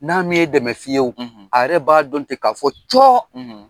N'a m'e dɛmɛ fiyewo , a yɛrɛ b'a dɔn ten k'a fɔ cɔ